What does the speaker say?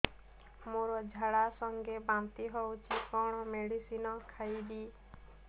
ମୋର ଝାଡା ସଂଗେ ବାନ୍ତି ହଉଚି କଣ ମେଡିସିନ ଖାଇବି